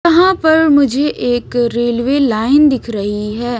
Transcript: यहाँ पर मुझे एक रेलवे लाइन दिख रही है।